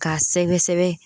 K'a sɛbɛsɛbɛ.